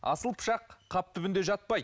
асыл пышақ қап түбінде жатпайды